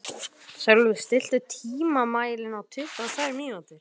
Sölvi, stilltu tímamælinn á tuttugu og tvær mínútur.